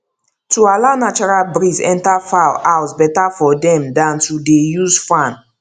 to allow natural breeze enter fowl house better for dem dan to dey use fan